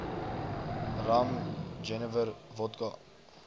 rum jenewer wodka